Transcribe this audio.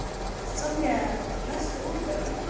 Svanbjörg, læstu útidyrunum.